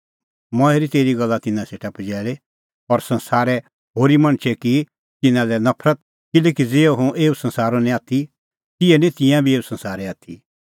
मंऐं हेरी तेरी गल्ला तिन्नां सेटा पजैल़ी और संसारे होरी मणछै की तिन्नां लै नफरत किल्हैकि ज़िहअ हुंह एऊ संसारो नांईं आथी तिहै ई निं तिंयां बी एऊ संसारे आथी